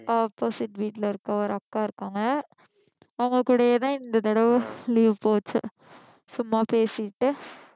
opposite வீட்டில இருக்க ஒரு அக்கா இருக்காங்க அவங்க கூடயேதான் இந்த தடவை leave போச்சு சும்மா பேசிட்டு